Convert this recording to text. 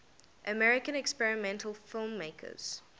american experimental filmmakers